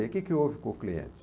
O que que houve com o cliente?